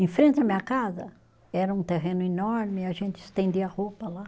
Em frente à minha casa, era um terreno enorme e a gente estendia roupa lá.